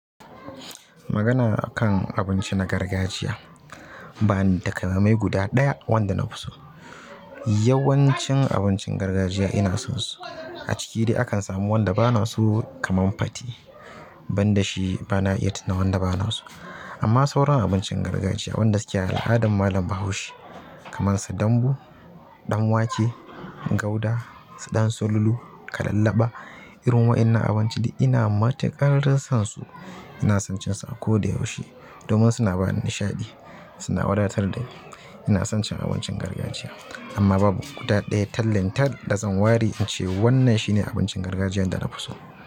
Magana a kan abinci na gargajiya, ba ni da ƙalamai guda ɗaya wanda nafi so. Yawancin abincin gargajiya ina sansu. A ciki dai akan samu wanda bana so kaman fate banda shi bana iya tuna wanda bana so. Amma sauran abincin gargajiya wanda suke a al'adan malam Bahaushe kamar su dambu, ɗanwake, gauda, ɗan sululu, kalallaɓa irin wa'innan abinci dai ina matuƙar dai son su. Ina son cin su a koda yaushe domin suna bani nishaɗi, suna wadatar da ni. Ina son cin abincin gargajiya amma babu guda ɗaya tallin tal da zan ware in ce wannan shine abincin gargajiyan da na fi so.